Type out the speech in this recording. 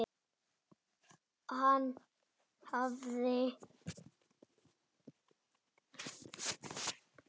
og hafa staf í hendi.